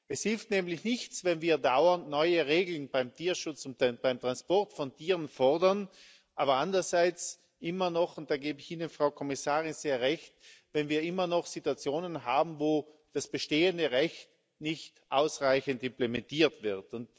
Es hilft nämlich nichts, wenn wir dauernd neue Regeln beim Tierschutz und beim Transport von Tieren fordern, aber andererseits immer noch und da gebe ich Ihnen, Frau Kommissarin, sehr Recht wenn wir immer noch Situationen haben, wo das bestehende Recht nicht ausreichend implementiert wird.